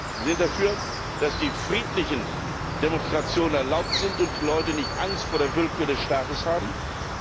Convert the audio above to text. Wir sind dafür, dass die friedlichen Demonstrationen erlaubt sind und die Leute nicht Angst vor der Willkür des Staates haben müssen.